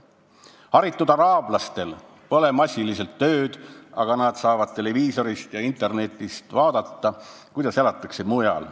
Haritud araablastel pole näiteks massiliselt tööd, aga nad saavad televiisorist ja internetist vaadata, kuidas elatakse mujal.